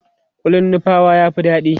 kullin nupawa ya Fi daɗi